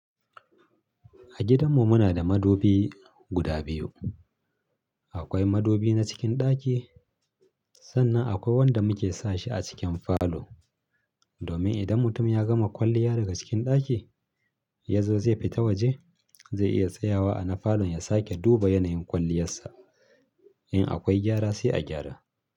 A gidanmu muna da madubi guda biyu. Akwai madubi na cikin ɗaki sannan akwai wanda muke sa shi a cikin falo. Domin idan mutum ya gama kwalliya daga cikin ɗaki, ya zo zai fita waje zai iya tsayawa a na falon ya sake duba yanayin kwalliyarsa. In akwai gyara sai a gyara.